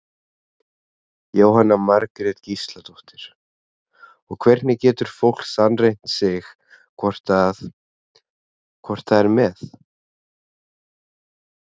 Jóhanna Margrét Gísladóttir: Og hvernig getur fólk sannreynt sig hvort að, hvort það er með?